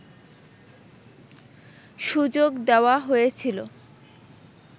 সুযোগ দেওয়া হয়েছিল